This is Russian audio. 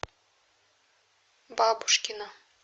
бабушкина